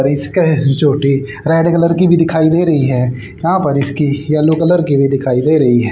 और इसका ये चोटी रेड कलर की भी दिखाई दे रही है यहां पर इसकी येलो कलर की भी दिखाई दे रही है।